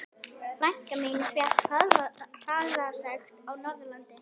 Frænka mín fékk hraðasekt á Norðurlandi.